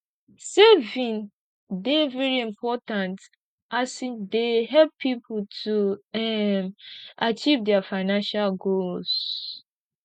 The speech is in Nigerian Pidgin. saving dey very important as e dey help people to um achieve their financial goals